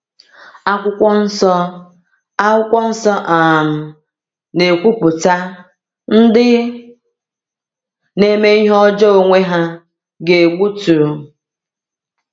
Akwụkwọ Nsọ Akwụkwọ Nsọ um na-ekwupụta: “Ndị na-eme ihe ọjọọ onwe ha ga-egbutu...